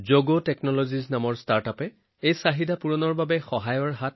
জগ টেকনলজিৰ দৰে ষ্টাৰ্টআপে এই চাহিদা পূৰণ কৰাত সহায় কৰিছে